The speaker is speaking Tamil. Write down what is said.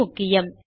இது முக்கியம்